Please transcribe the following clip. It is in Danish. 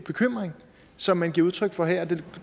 bekymring som man giver udtryk for her det